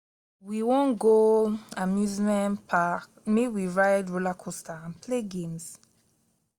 we wan go amusement park make we ride rollercoaster and play games.